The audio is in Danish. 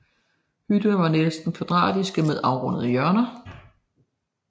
Hytterne var næsten kvadratiske med afrundede hjørner